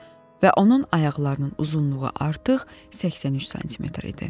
Və onun ayaqlarının uzunluğu artıq 83 sm idi.